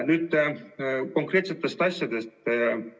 Nüüd konkreetsetest asjadest.